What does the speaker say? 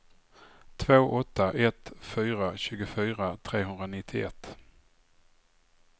två åtta ett fyra tjugofyra trehundranittioett